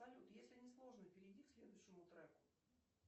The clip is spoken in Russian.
салют если не сложно перейди к следующему треку